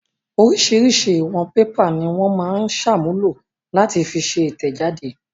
Oríṣiríṣi ìwọ̀n pépà ni wọ́n máa ń ṣàmúlò láti fi ṣe ìtẹ̀jáde.